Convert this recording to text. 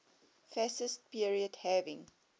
fascist period having